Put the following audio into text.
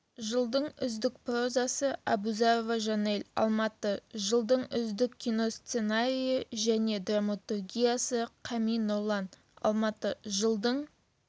жылдың үздік прозасы әбузарова жанел алматы жылдың үздік кино сценарийі және драматургиясы қами нұрлан алматы жылдың